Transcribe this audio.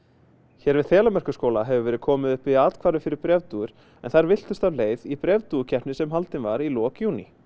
hér við Þelamerkurskóla hefur verið komið upp athvarfi fyrir bréfdúfur en þær villtust af leið í bréfdúfukeppni sem haldin var í lok júní